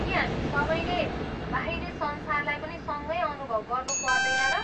के हामी सबैले बाहिरी संसारलाई पनि सँगै अनुभव गर्नु पर्दैन र?